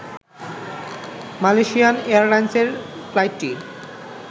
Malaysian এয়ারলাইন্সের ফ্লাইটটি